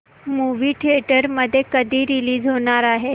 movie theatre मध्ये कधी release होणार आहे